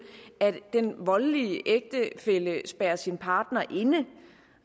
at den voldelige ægtefælle spærrer sin partner inde